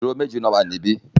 Àwọn ó ìdúró méjì náà wà níbí